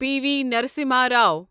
P V Narasimha Rao